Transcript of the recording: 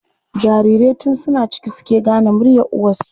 Jarirai tun suna ciki suke gane muryar uwarsu.